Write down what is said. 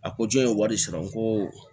A ko jɔn ye wari sɔrɔ n ko